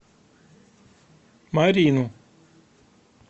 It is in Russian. марину